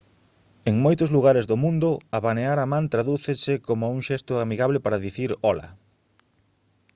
en moitos lugares do mundo abanear a man tradúcense como un xesto amigable para dicir ola